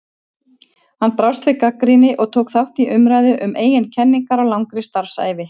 Hann brást við gagnrýni og tók þátt í umræðu um eigin kenningar á langri starfsævi.